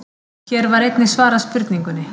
Hér var einnig svarað spurningunni: